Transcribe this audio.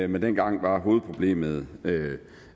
men dengang var hovedproblemet